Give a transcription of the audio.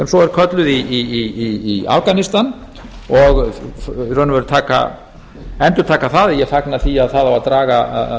svo er kölluð í afganistan og í raun og veru endurtaka það að ég fagna því að það á að draga